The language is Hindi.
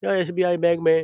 यह एस.बी.आई. में --